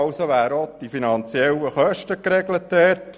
Damit wären dort auch die finanziellen Kosten geregelt.